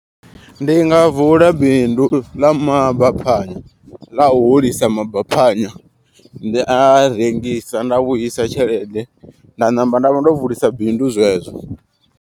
Ndi nga vula bindu ḽa mabaphanya ḽa u hulisa mabaphanya. Ndi a rengisa nda vhuisa tshelede nda namba nda vha ndo vulisa bindu zwezwo.